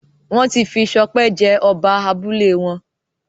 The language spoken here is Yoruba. wón tí fí Sope jé Oba abúlé wón